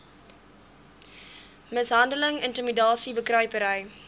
mishandeling intimidasie bekruipery